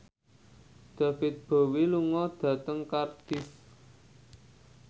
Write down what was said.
David Bowie lunga dhateng Cardiff